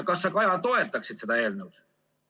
Kas sa, Kaja, toetaksid seda eelnõu?